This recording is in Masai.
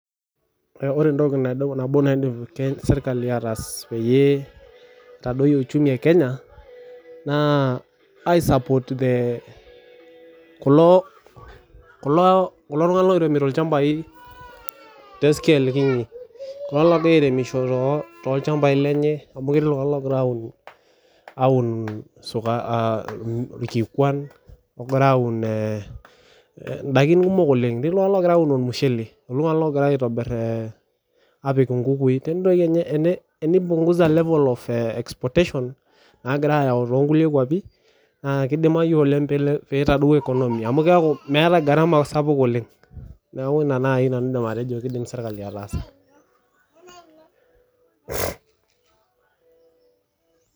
Ore entoki nabo naidim sirkali ataas pee eitadoyio uchumi ee Kenya naa I support the kulo tung'ana oiremisho tee scale kiti kulo ogira airemisho too ilchambai lenye amu ketii iltung'ana ogira aun irkikuan endaiki kumok oleng tenipunguza level of exportation nagira ayawu tekulie kwapii naa kidimayu oleng pee eitadou economy amu keeku meeta gharama sapuk oleng neeku ena naaji nanu aidim atejo kidim sirkali ataasa